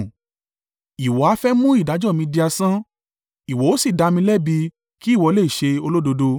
“Ìwọ ha fẹ́ mú ìdájọ́ mi di asán? Ìwọ ó sì dá mi lẹ́bi, kí ìwọ lè ṣe olódodo.